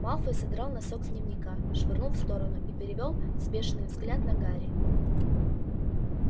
малфой содрал носок с дневника швырнул в сторону и перевёл взбешённый взгляд на гарри